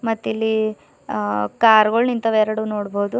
ಮತ್ತ್ ಇಲ್ಲಿ ಹಾ ಕಾರ್ ಗೊಳ್ ನಿಂತವ ಎರಡು ನೋಡ್ಬೋದು.